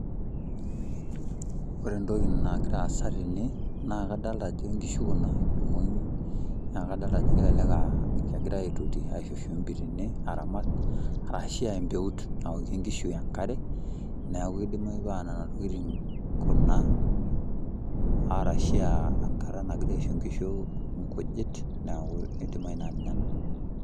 Ore entoki nagira aasa tene, naa kadalta ajo nkishu kuna, irmong'i. Na kadalta ajo elelek ah kegirai aitoti aisho shumbi tene aramat, arashua empeut naokie nkish enkare, neeku kidimayu paa nena tokiting kuna, arashua enkata nagirai aisho nkishu inkujit, neeku idimayu naa ninye ena.